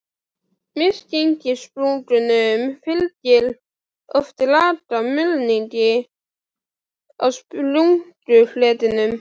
Misgengissprungum fylgir oft lag af mulningi á sprungufletinum.